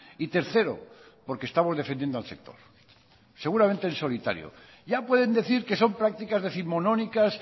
y tercero porque estamos defendiendo al sector seguramente en solitario ya pueden decir que son prácticas décimonónicas